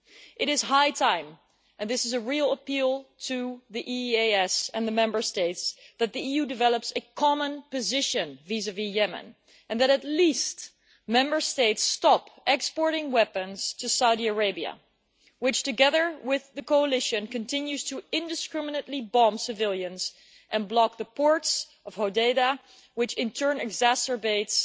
It is high time and this is a real appeal to the European External Action Service and the Member States that the EU develops a common position vis vis Yemen, and at least that Member States stop exporting weapons to Saudi Arabia, which, together with the coalition, continues to indiscriminately bomb civilians and block the ports of Hodeidah, which in turn exacerbates